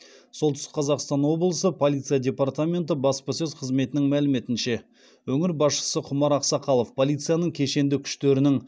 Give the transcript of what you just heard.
солтүстік қазақстан облысы полиция департаменті баспасөз қызметінің мәліметінше өңір басшысы құмар ақсақалов полицияның кешенді күштерінің